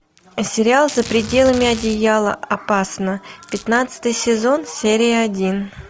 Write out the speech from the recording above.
сериал за пределами одеяла опасно пятнадцатый сезон серия один